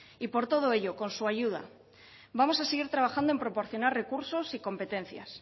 y por todo ello con su ayuda vamos a seguir trabajando en proporcionar recursos y competencias